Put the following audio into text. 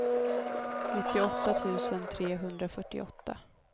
nittioåtta tusen trehundrafyrtioåtta